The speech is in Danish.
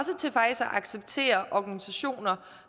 acceptere organisationer